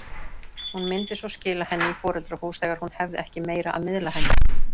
Hún myndi svo skila henni í foreldrahús þegar hún hefði ekki meira að miðla henni.